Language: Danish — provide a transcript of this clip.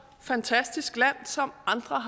fantastisk land som andre